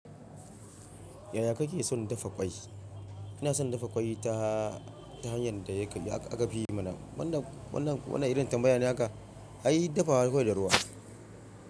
Yaya kake son dafa ƙwai? Ina son dafa ƙwai ta, ta hanyar da ya ka, aka fi yi mana. Wannan, wannan, wannan irin tambayane aka a yi dafa ƙwai da ruwa.